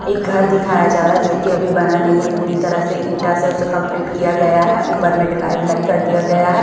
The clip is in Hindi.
एक घर दिखाया जा रहा है जोकि अभी बना नहीं पूरी तरह से ईंटा से उसे कंप्लीट किया गया है ऊपर में ढलाई वालाई कर दिया गया है।